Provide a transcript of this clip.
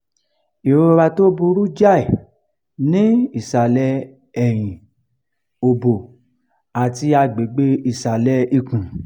irora tó burú jáì ni isale eyin obo ati agbegbe isale ikun